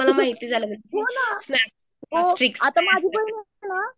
हो ना आता माझं पण ना